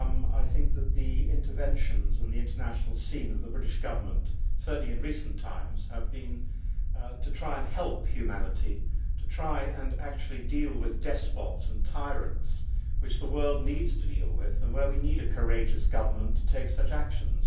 I think that the interventions and the international scene of the British government, certainly in recent times, have been to try and help humanity, to try and actually deal with despots and tyrants which the world needs to deal with and where we need a courageous government to take such actions.